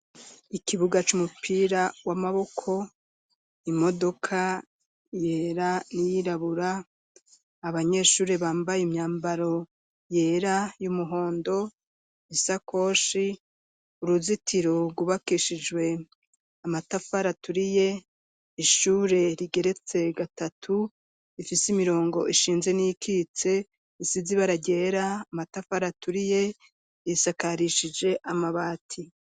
Ikibuga c'umupira w'amaboko imodoka yera niyirabura abanyeshuri bambaye imyambaro yera y'umuhondo isakoshi uruzitiro gubakishijwe amatafaraturiye ishure rigeretse gatatu ifise imirongo ishinze n'ikitse isizi baragera amatafaraturiye yisakarishije amabati.